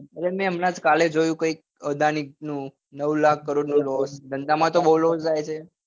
અરે મેં હમણાં જ કાલે જોયું કઈક અદાનીસ નું નવ લાખ કરોડ નું loss ધંધા માં તો બઉ loss રહે છે